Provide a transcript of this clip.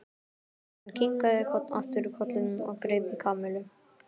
Hann kinkaði aftur kolli og greip í Kamillu.